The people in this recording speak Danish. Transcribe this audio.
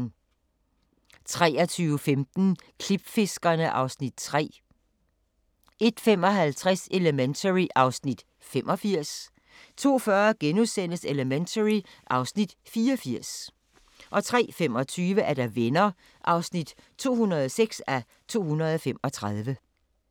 23:15: Klipfiskerne (Afs. 3) 01:55: Elementary (Afs. 85) 02:40: Elementary (Afs. 84)* 03:25: Venner (206:235)